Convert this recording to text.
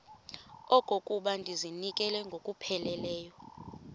okokuba ndizinikele ngokupheleleyo